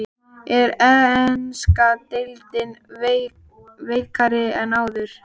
Er enska deildin veikari en áður?